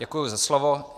Děkuji za slovo.